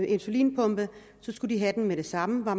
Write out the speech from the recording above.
insulinpumpe så skulle de have den med det samme var